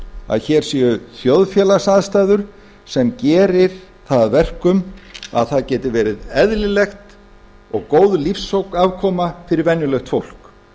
að hér séu þjóðfélagsaðstæður sem gerir það að verkum að það geti verið eðlileg og góð lífsafkoma fyrir venjulegt fólk